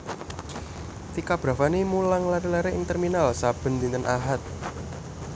Tika Bravani mulang lare lare ing terminal saben dinten Ahad